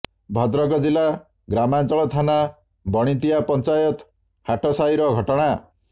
ଭଦ୍ରକ ଜିଲା ଗ୍ରାମାଞ୍ଚଳ ଥାନା ବାଣିତିଆ ପଂଚାୟତ ହାଟସାହିର ଘଟଣା